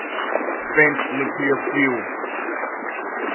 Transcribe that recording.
spent nuclear fuel